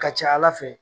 Ka ca ala fɛ